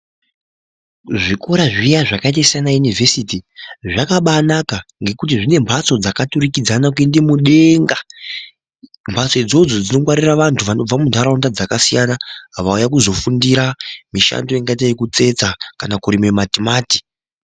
Zvikora zviya zvakaita sanayunivesiti zvakabainaka ngekuti zvine mbatso dzakaturikidzana kuenda mudenga mbatsodzo dzongwarira vandu vanobva mundaraunda dzakasiya vauya kuzofundira mushando ingaita yekutsetsa kana kurima matimati.